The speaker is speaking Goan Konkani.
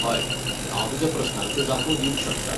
हय, हांव तुज्या प्रस्नांच्यो जापो दिवंक शकता.